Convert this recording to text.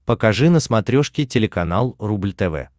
покажи на смотрешке телеканал рубль тв